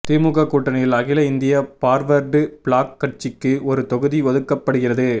திமுக கூட்டணியில் அகில இந்திய பார்வர்டு பிளாக் கட்சிக்கு ஒரு தொகுதி ஒதுக்கப்படுகிறது